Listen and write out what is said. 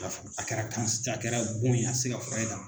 I y'a faamu a kɛra kan a kɛra bon ye a tɛ se ka furakɛ ka